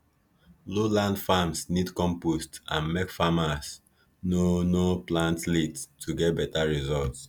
low land farms need compost and make farmers no no plant late to get better result